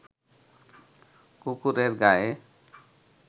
কুকুরের গায়ে